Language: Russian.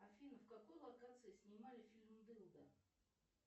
афина в какой локации снимали фильм дылда